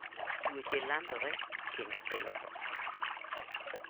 Tuoche landore kendo kelo tho.